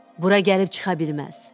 Bura gəlib çıxa bilməz.